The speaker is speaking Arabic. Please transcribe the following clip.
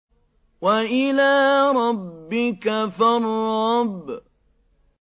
وَإِلَىٰ رَبِّكَ فَارْغَب